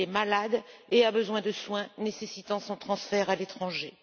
Il est malade et a besoin de soins nécessitant son transfert à l'étranger.